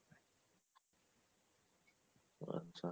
আচ্ছা